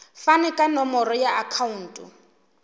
fane ka nomoro ya akhauntu